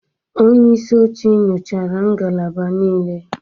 Onye isi oche nyochara ngalaba niile